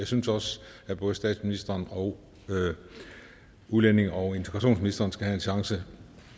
synes også at både statsministeren og udlændinge og integrationsministeren skal have en chance